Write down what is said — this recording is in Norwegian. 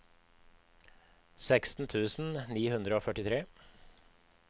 seksten tusen ni hundre og førtitre